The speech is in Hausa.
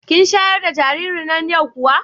Kin sharar da jaririn nan yau kuwa?